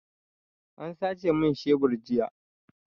An sace min shebur jiya.